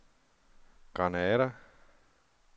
Granada